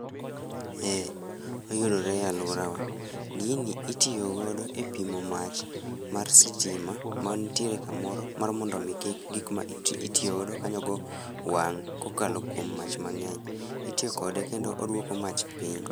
Eeeh, oyudore e aluora wa, Gini itiyo godo e pimo mach mar sitima ma ntiere kamoro mar mondo gik mitiyo go kanyogo wang' kokalo kuom mach mangeny. Itiyo kode kendo oduoko mach piny